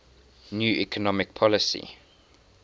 new economic policy